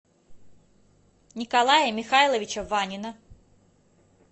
николая михайловича ванина